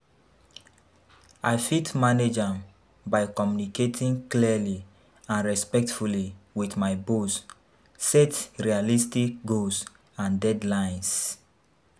I fit manage am by communicating clearly and respectfully with my boss, set realistic goals and deadlines.